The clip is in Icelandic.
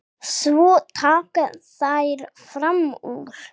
Svo taka þær fram úr.